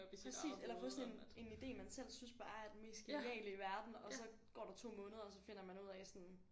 Præcis eller få sådan en en idé man selv synes bare er den mest geniale i verden og så går der 2 måneder og så finder man ud af sådan